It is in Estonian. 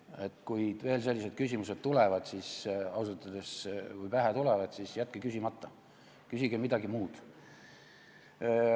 Et kui veel sellised küsimused tulevad, siis ausalt öeldes jätke küsimata, küsige midagi muud.